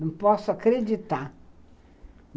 Não posso acreditar.